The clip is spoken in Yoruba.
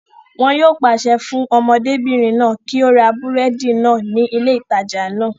Wọn yóò pàṣẹ fún ọmọdébìrin náà kí ó ra búrẹ́dì náà ní ilé ìtajà náà